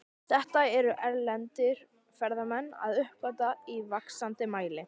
Þetta eru erlendir ferðamenn að uppgötva í vaxandi mæli.